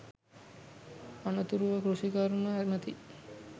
අනතුරුව කෘෂිකර්ම ඇමති